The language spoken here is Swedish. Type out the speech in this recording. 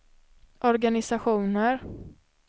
organisationer